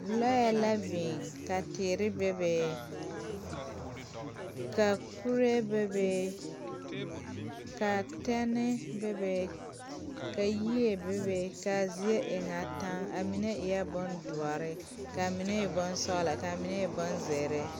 Lɔɛ la biŋ ka teere bebe ka kuree bebe kaa tɛne bebe ka yie bebe kaa zie e ŋa taŋ a mine eɛɛ bondoɔre kaa mine e bonsɔglɔ kaa mine e bonzeere.